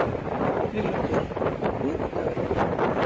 Víglundur, hvaða vikudagur er í dag?